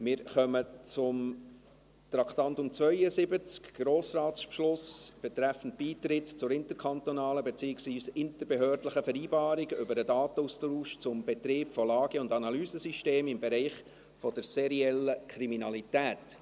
Wir kommen zum Traktandum 72, dem «Grossratsbeschluss betreffend den Beitritt zur interkantonalen bzw. interbehördlichen Vereinbarung über den Datenaustausch zum Betrieb von Lage- und Analysesystemen im Bereich der seriellen Kriminalität».